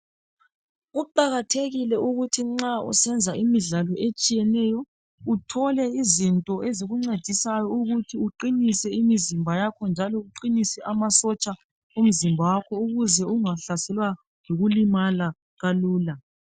kuqakathekile ukuba nxa usenza imidlalo etshiyeneyo uthole izinto ezikuncedisayo ukuthi uqinise umzimba wakho njalo uqhinise amasotsha womzimba wakho ukuze ungahlaselwa yimikhuhlane kalula